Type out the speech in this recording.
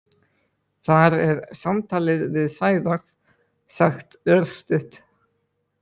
Þar er samtalið við Sævar sagt örstutt.